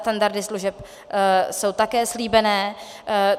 Standardy služeb jsou také slíbené.